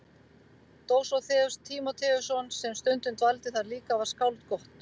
Dósóþeus Tímóteusson sem stundum dvaldi þar líka var skáld gott.